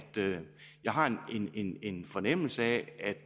jeg har en en fornemmelse af at